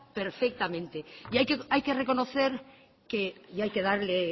perfectamente y hay que reconocer que y hay que darle